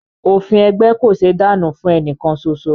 Òfin ẹgbẹ́ kò ṣéé dànù fún ẹnìkan soso